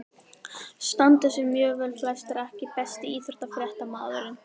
Standa sig mjög vel flestir EKKI besti íþróttafréttamaðurinn?